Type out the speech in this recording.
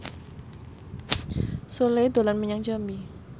Sule dolan menyang Jambi